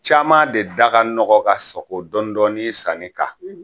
Caman de da ka nɔgɔ ka sago dɔɔni dɔɔni sanni kan.